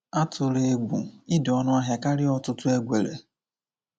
Atụla egwu, ị dị ọnụahịa karịa ọtụtụ egwele.